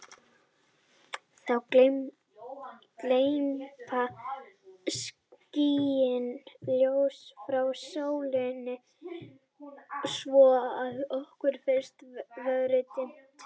þá gleypa skýin ljósið frá sólinni svo að okkur finnst vera dimmt